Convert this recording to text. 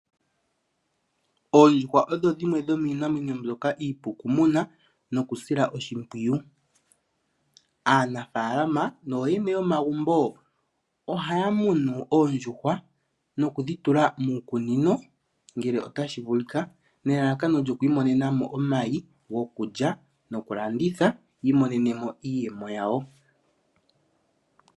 Oondjuhwa odho dhimwe dhomiinamwenyo mbyoka iipu kumuna nokusila oshimpwiyu. Aanafalama nooyene yomagumbo ohaya munu oondjuhwa nokudhitula muukunino ngele otashi vulika, nelalakano lyoku imonena mo oomayi gokulya noku landitha yi imonenemo iiyemo yawo.